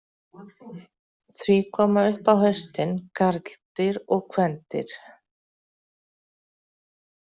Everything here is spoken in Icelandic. Því koma upp á haustin karldýr og kvendýr.